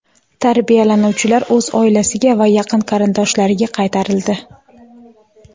Tarbiyalanuvchilar o‘z oilasiga va yaqin qarindoshlariga qaytarildi.